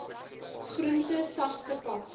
groente sagte pap